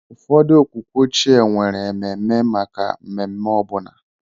Ụfọdụ okwukwe ochie nwere ememe maka mmemme ọbụna.